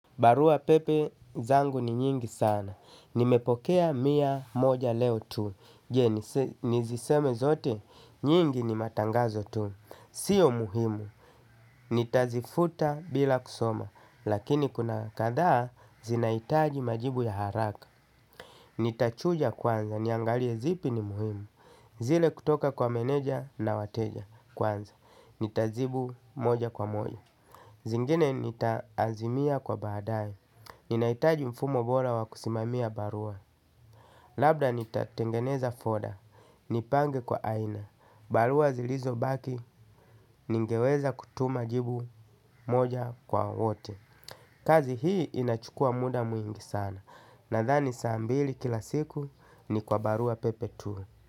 Barua pepe zangu ni nyingi sana. Nimepokea miya moja leo tu. Je, niziseme zote? Nyingi ni matangazo tu. Sio muhimu. Nitazifuta bila kusoma, lakini kuna kadhaa zinaitaji majibu ya haraka. Nitachuja kwanza, niangalie zipi ni muhimu. Zile kutoka kwa meneja na wateja kwanza. Nitajibu moja kwa moja. Zingine nitaazimia kwa baadae. Ninaitaji mfumo bora wakusimamia barua. Labda nitatengeneza foda, nipange kwa aina. Barua zilizo baki, ningeweza kutuma jibu moja kwa wote. Kazi hii inachukua muda muingi sana. Nadhani saambili kila siku ni kwa barua pepe tu.